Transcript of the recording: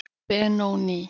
Benóný